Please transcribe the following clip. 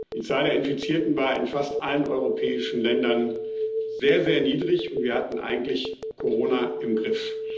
Die Zahl der Infizierten war in fast allen europäischen Ländern sehr, sehr niedrig, und wir hatten Corona eigentlich im Griff.